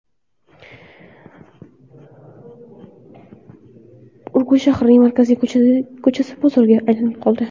Urgut shahrining markaziy ko‘chasi bozorga aylanib qoldi.